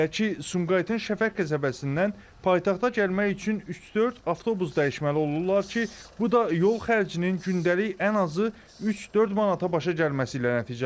Belə ki, Sumqayıtın Şəfəq qəsəbəsindən paytaxta gəlmək üçün üç-dörd avtobus dəyişməli olurlar ki, bu da yol xərcinin gündəlik ən azı üç-dörd manata başa gəlməsi ilə nəticələnir.